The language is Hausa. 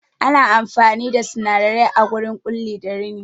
Ana amfani da sinadarai a wurin Ƙulli da rini